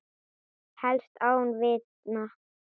Helst án vitna.